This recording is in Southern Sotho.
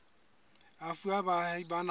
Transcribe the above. e fuwa baahi ba naha